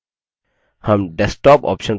हम desktop option पर click करते हैं